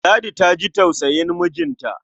Ladi ta ji tausayin mijinta.